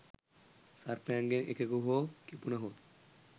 සර්පයන්ගෙන් එකෙකු හෝ කිපුණහොත්